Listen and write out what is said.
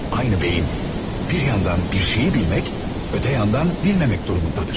Aynı beyin bir yandan bir şeyi bilmək, öte yandan bilməmək durumundadır.